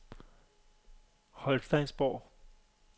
Holsteinsborg